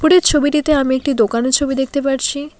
এই ছবিটিতে আমি একটি দোকানের ছবি দেখতে পারছি।